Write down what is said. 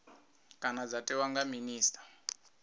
kana dza tiwa nga minista